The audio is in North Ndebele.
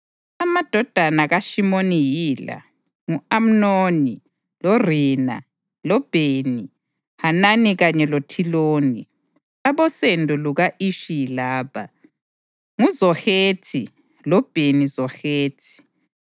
Amadodana kaShimoni yila: ngu-Amnoni, loRina, loBheni-Hanani kanye loThiloni. Abosendo luka-Ishi yilaba: nguZohethi loBheni-Zohethi.